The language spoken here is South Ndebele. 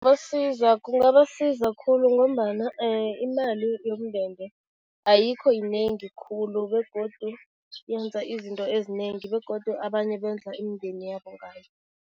kungabasiza khulu ngombana imali yomndende ayikho yinengi khulu begodu yenza izinto ezinengi begodu abanye bondla imindeni yabo ngayo.